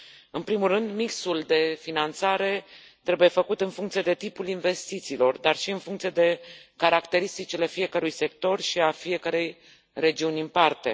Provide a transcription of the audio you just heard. În primul rând mixul de finanțare trebuie făcut în funcție de tipul investițiilor, dar și în funcție de caracteristicile fiecărui sector și a fiecărei regiuni în parte.